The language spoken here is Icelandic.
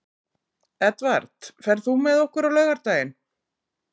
Edvard, ferð þú með okkur á laugardaginn?